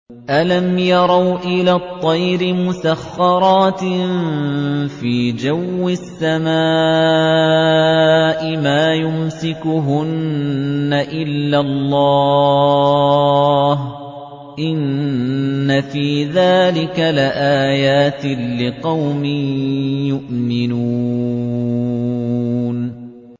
أَلَمْ يَرَوْا إِلَى الطَّيْرِ مُسَخَّرَاتٍ فِي جَوِّ السَّمَاءِ مَا يُمْسِكُهُنَّ إِلَّا اللَّهُ ۗ إِنَّ فِي ذَٰلِكَ لَآيَاتٍ لِّقَوْمٍ يُؤْمِنُونَ